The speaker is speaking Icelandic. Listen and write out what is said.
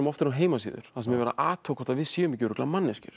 á heimasíður þar sem er athugað hvort við séum ekki manneskjur